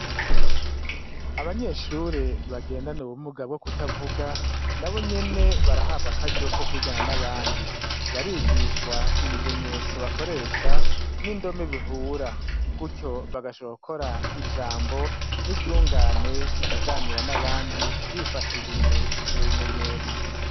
Abanyeshure bagendana ubumuga bwo kutavuga nabo nyene barahabwa akaryo ko kwigana n'abandi , barigishwa ibimenyetso bakoresha n'indome bihura gurtyo bagashobora gukora ijambo n'iryungane bakaganira bifashishije ivyo bimenyetso.